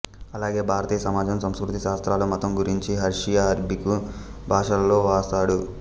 అలాగే భారతీయ సమాజం సంస్కృతి శాస్త్రాలు మతం గురించి పర్షియా అరబికు భాషలలో వ్రాసాడు